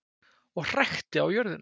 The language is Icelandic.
Og hrækti á jörðina.